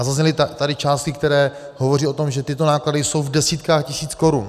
A zazněly tady částky, které hovoří o tom, že tyto náklady jsou v desítkách tisíc korun.